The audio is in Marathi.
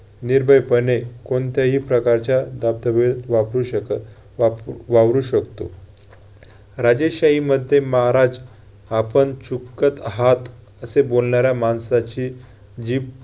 निर्भयपणे कोणत्याही प्रकारच्या वापरू शकत वा~ वावरू शकतो. राजशाहीमध्ये महाराज आपण चूकत आहात असे बोलणाऱ्या माणसाची जीभ